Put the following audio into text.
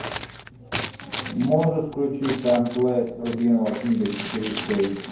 можешь включить таймлесс рубиновая книга четыре кей